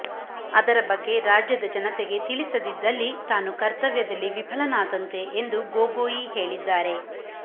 ಅದರ ಬಗ್ಗೆ ರಾಜ್ಯದ ಜನತೆಗೆ ತಿಳಿಸದಿದ್ದಲ್ಲಿ ತಾನು ಕರ್ತವ್ಯದಲ್ಲಿ ವಿಫಲನಾದಂತೆ ಎಂದು ಗೊಗೋಯಿ ಹೇಳಿದ್ದಾರೆ